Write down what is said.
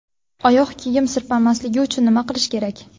Oyoq kiyim sirpanmasligi uchun nima qilish kerak?.